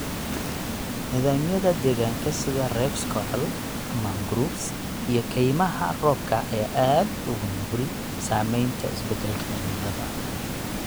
Nidaamyada deegaanka sida reefs coral, mangroves, iyo kaymaha roobka ayaa aad ugu nugul saamaynta isbedelka cimilada.